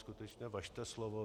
Skutečně, važte slova.